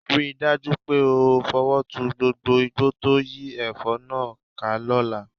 Rí i dájú pé o fọwọ́ tu gbogbo igbó tó yí ẹ̀fọ́ náà ká lọ́la